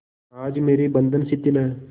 आज मेरे बंधन शिथिल हैं